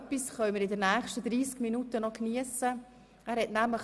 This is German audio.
Und etwas werden wir in den nächsten 30 Minuten noch geniessen können.